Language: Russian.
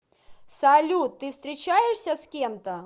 салют ты встречаешься с кем то